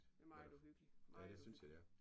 Det meget uhyggeligt. Meget uhyggeligt